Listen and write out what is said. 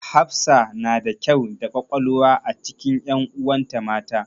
Hafsa na da kyau da ƙwaƙwalwa a cikin ƴanuwan ta mata.